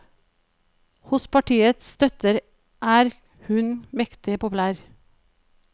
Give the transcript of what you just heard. Hos partiets støtter er hun mektig populær.